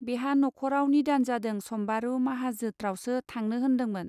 बेहा न'खराव निदान जादों सम्बारू माहाजोत्रावसो थांनो होन्दोंमोन.